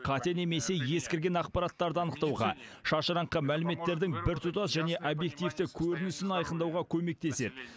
қате немесе ескірген ақпараттарды анықтауға шашыраңқы мәліметтердің біртұтас және объективті көрінісін айқындауға көмектеседі